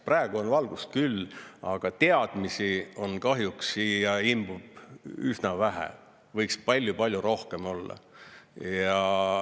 Praegu on valgust küll, aga teadmisi kahjuks siia imbub üsna vähe, võiks palju-palju rohkem olla.